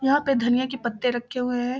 यहाँ पे धनिया के पत्ते रखे हुए है।